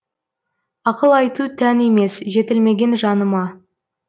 ақыл айту тән емес жетілмеген жаныма